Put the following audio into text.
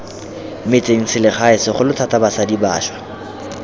metsengselegae segolo thata basadi bašwa